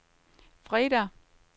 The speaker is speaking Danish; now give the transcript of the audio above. fredag